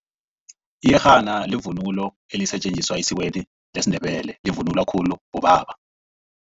Iyerhana livunulo elisetjenziswa esikweni lesiNdebele. Livunulwa khulu bobaba.